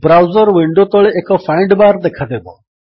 browser window ତଳେ ଏକ find bar ଦେଖାଦେବ